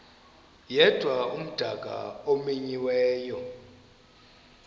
yedwa umdaka omenyiweyo